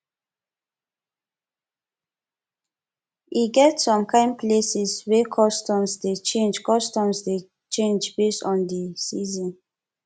e get som kain places wey customs dey change customs dey change based on de season